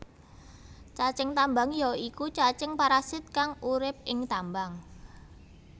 Cacing tambang ya iku cacing parasit kang urip ing tambang